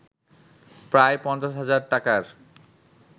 প্রায় ৫০ হাজার টাকার